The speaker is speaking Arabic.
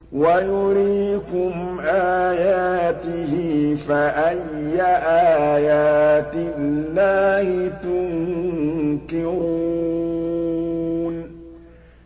وَيُرِيكُمْ آيَاتِهِ فَأَيَّ آيَاتِ اللَّهِ تُنكِرُونَ